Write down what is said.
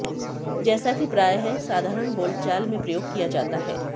जैसा कि प्रायः साधारण बोलचाल में प्रयोग किया जाता है